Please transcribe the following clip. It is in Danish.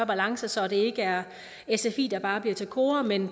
balance så det ikke er sfi der bare bliver til kora men